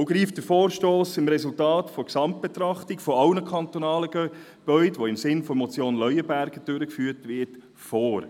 Auch greift der Vorstoss dem Resultat der Gesamtbetrachtung sämtlicher kantonaler Gebäude, die im Sinn der Motion Leuenberger durchgeführt wird, vor.